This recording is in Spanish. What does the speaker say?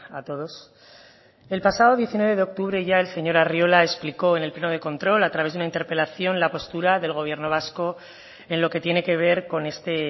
a todos el pasado diecinueve de octubre ya el señor arriola explicó en el pleno de control a través de una interpelación la postura del gobierno vasco en lo que tiene que ver con este